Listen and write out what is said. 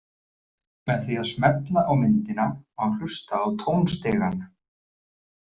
Með því að smella á myndina má hlusta á tónstigann.